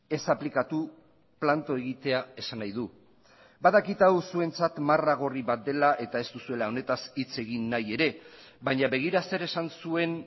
ez aplikatu planto egitea esan nahi du badakit hau zuentzat marra gorri bat dela eta ez duzuela honetaz hitz egin nahi ere baina begira zer esan zuen